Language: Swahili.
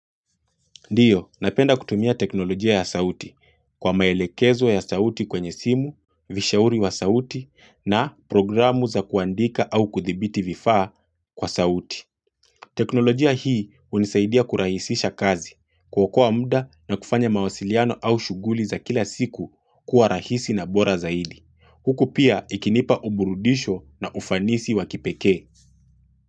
Ndio, napenda kutumia teknolojia ya sauti kwa maelekezo ya sauti kwenye simu, vishauri wa sauti na programu za kuandika au kuthibiti vifaa kwa sauti. Teknolojia hii unisaidia kurahisisha kazi kuokoa muda na kufanya mawasiliano au shughuli za kila siku kuwa rahisi na bora zaidi. Huku pia ikinipa uburudisho na ufanisi wa kipekee.